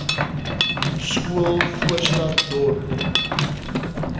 skool voorstad dorp